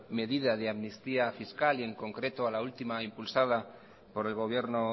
medida de amnistía fiscal y en concreto a la última impulsada por el gobierno